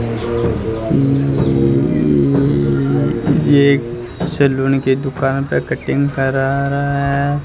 ये एक सैलून की दुकान पर कटिंग कर रहा है।